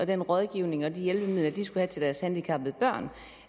den rådgivning og de hjælpemidler de skulle have til deres handicappede børn